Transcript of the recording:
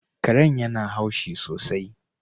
Karen yana haushi sosai